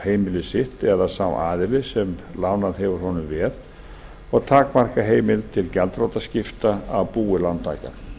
heimili sitt eða sá aðili sem lánað hefur honum veð og takmarka heimild til gjaldþrotaskipta á búi lántaka